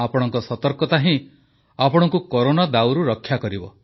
ଆପଣଙ୍କ ସତର୍କତା ହିଁ ଆପଣଙ୍କୁ କରୋନା ଦାଉରୁ ରକ୍ଷା କରିବ